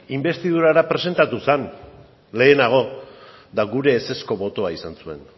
inbestidurara presentatu zen lehenago eta gure ezezko botoa izan zuen